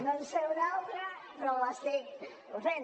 no en sé una altra però ho estic fent